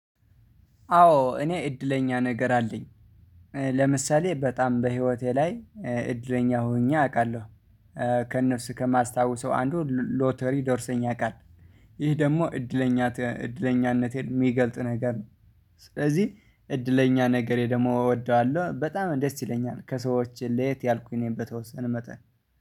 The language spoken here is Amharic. አዎ እኔ እድለኛ ነገር አለኝ። ለምሳሌ በጣም በህይወቴ ላይ እድለኛ ሆኜ አውቃለሁ። ከነሱ ከማስታውሰው አንዱ ሎተሪ ደርሶኝ ያውቃል፤ ይሄ ደግሞ እድለኛ እድለኛነቴን የሚገልጥ ነገር ነው። ስለዚህ እድለኛ ነገሬ ደግሞ እወደዋለሁ፤ በጣም ደስ ይለኛል፤ ከሰዎች ለየት ያልኩኝ እኔን በተወሰነ መጠን